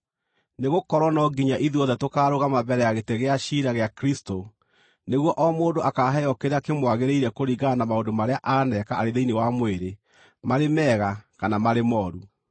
Nĩgũkorwo no nginya ithuothe tũkaarũgama mbere ya gĩtĩ gĩa ciira gĩa Kristũ, nĩguo o mũndũ akaaheo kĩrĩa kĩmwagĩrĩire kũringana na maũndũ marĩa aaneka arĩ thĩinĩ wa mwĩrĩ, marĩ mega kana marĩ mooru.